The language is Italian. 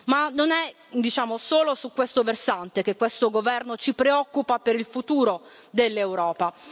Ma non è solo su questo versante che questo Governo ci preoccupa per il futuro dell'Europa.